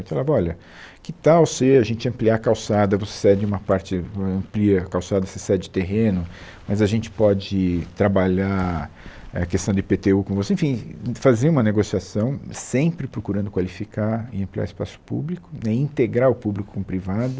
A gente falava, olha, que tal se a gente ampliar a calçada, você cede uma parte, amplia a calçada, você cede terreno, mas a gente pode trabalhar a questão do í pê tê u com você, enfim, fazia uma negociação sempre procurando qualificar e ampliar espaço público né, integrar o público com o privado,